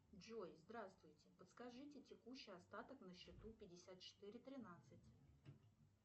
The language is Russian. джой здравствуйте подскажите текущий остаток на счету пятьдесят четыре тринадцать